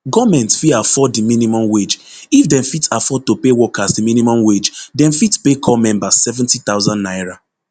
goment fit afford di minimum wage if dem fit afford to pay workers di minimum wage dem fit pay corps members seventy thousand naira